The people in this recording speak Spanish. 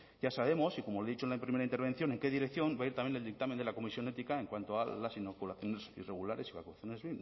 ya sabemos y como le he dicho en la primera intervención en qué dirección va a ir también el dictamen de la comisión ética en cuanto a las inoculaciones irregulares y vacunaciones